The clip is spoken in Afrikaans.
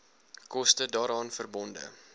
koste daaraan verbonde